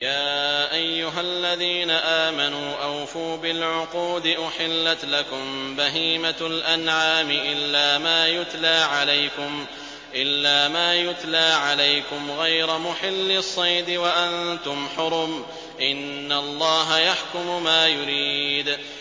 يَا أَيُّهَا الَّذِينَ آمَنُوا أَوْفُوا بِالْعُقُودِ ۚ أُحِلَّتْ لَكُم بَهِيمَةُ الْأَنْعَامِ إِلَّا مَا يُتْلَىٰ عَلَيْكُمْ غَيْرَ مُحِلِّي الصَّيْدِ وَأَنتُمْ حُرُمٌ ۗ إِنَّ اللَّهَ يَحْكُمُ مَا يُرِيدُ